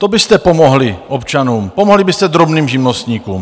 To byste pomohli občanům, pomohli byste drobným živnostníkům.